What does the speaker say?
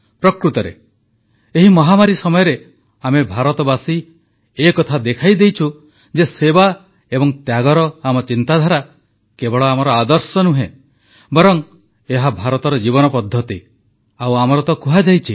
ପ୍ରକୃତରେ ଏହି ମହାମାରୀ ସମୟରେ ଆମେ ଭାରତବାସୀ ଏକଥା ଦେଖାଇଦେଇଛୁ ଯେ ସେବା ଏବଂ ତ୍ୟାଗର ଆମ ଚିନ୍ତାଧାରା କେବଳ ଆମ ଆଦର୍ଶ ନୁହେଁ ବରଂ ଏହା ଭାରତର ଜୀବନ ପଦ୍ଧତି ଆଉ କୁହାଯାଏ